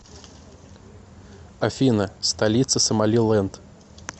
афина столица сомалиленд